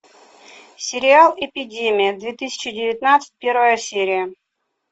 сериал эпидемия две тысячи девятнадцать первая серия